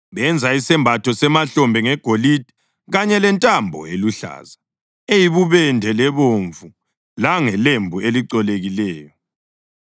Benza isembatho semahlombe ngegolide, kanye lentambo eluhlaza, eyibubende lebomvu langelembu elicolekileyo.